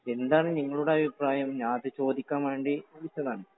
എന്താണ് നിങ്ങളുടെ അഭിപ്രായം? ഞാനത് ചോദിക്കാൻ വേണ്ടി വിളിച്ചതാണ്.